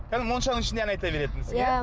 кәдімгі моншаның ішінде ән айта беретінсің иә